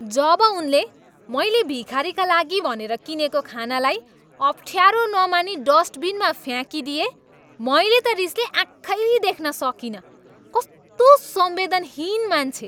जब उनले मैले भिखारीका लागि भनेर किनेको खानालाई अफ्ठ्यारो नमानी डस्टबिनमा फ्याँकिदिए, मैले त रिसले आँखै देख्न सकिनँ। कस्तो संवेदनहीन मान्छे!